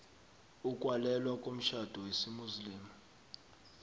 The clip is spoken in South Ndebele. ukwalelwa komtjhado wesimuslimu